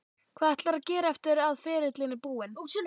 Hvað ætlarðu að gera eftir að ferilinn er búinn?